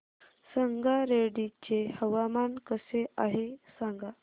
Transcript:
संगारेड्डी चे हवामान कसे आहे सांगा